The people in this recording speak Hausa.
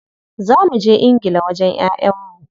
Za muje ingila wajen yayan mu.